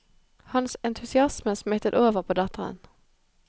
Hans entusiasme smittet over på datteren.